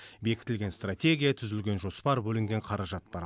бекітілген стратегия түзілген жоспар бөлінген қаражат бар